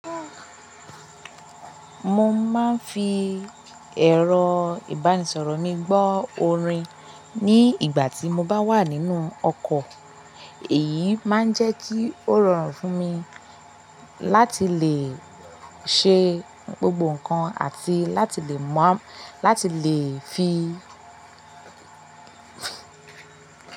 Mo máa ń fi ẹ̀rọ-ìbánisọ̀rọ̀ mi gbọ́ orin ní ìgbà tí mo bá wà nínú ọkọ̀. Èyí máa ń jẹ́ kí ó rọrùn fún mi láti lè ṣe gbogbo nnkan àti láti lè mọ̀, láti lè fi.